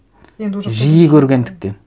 жиі көргендіктен